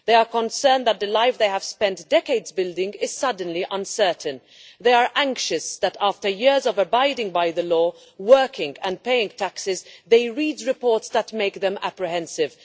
They are concerned that the life they have spent decades building is suddenly uncertain, they are anxious that after years of abiding by the law, working and paying taxes, they read reports that make them apprehensive.